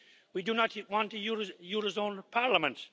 We do not want a eurozone parliament.